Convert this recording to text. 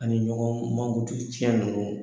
Nin ɲɔgɔn mankutu cɛn ninnu